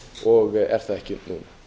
og er það ekki nú